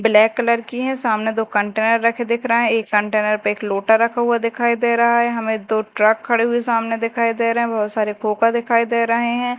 Black colour की है सामने दो कंटेनर रखे दिख रहे हैं एक कंटेनर पे एक लोटा रखा हुआ दिखाई दे रहा है हमें दो ट्रक खड़े हुए सामने दिखाई दे रहे हैं बहुत सारे खोका दिखाई दे रहे हैं।